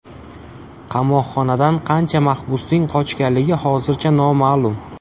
Qamoqxonadan qancha mahbusning qochganligi hozircha noma’lum.